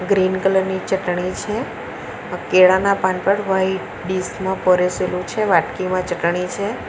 Green colour ની ચટણી છે આ કેળાના પાન પર વાઈટ ડીશ માં પરેસેલું છે વાટકીમાં ચટણી છે.